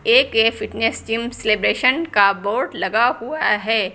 A K fitness gym celebration का board लगा हुआ है।